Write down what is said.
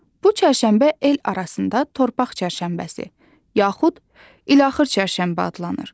Bu çərşənbə el arasında torpaq çərşənbəsi, yaxud ilaxır çərşənbə adlanır.